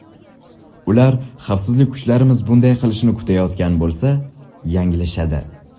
Ular xavfsizlik kuchlarimiz bunday qilishini kutayotgan bo‘lsa, yanglishadi.